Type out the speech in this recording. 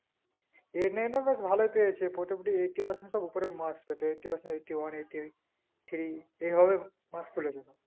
eight nine এ বেশ ভালোই তুলেছে প্রতিদি eighty percent সব উপরে marks আছে eighty percent, eighty one, eighty eight, eighty three এইভাবে marks তুলেদিচ্ছে